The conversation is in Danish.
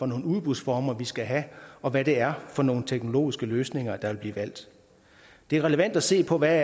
nogle udbudsformer vi skal have og hvad det er for nogle teknologiske løsninger der vil blive valgt det er relevant at se på hvad